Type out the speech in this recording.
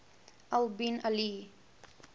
al bin ali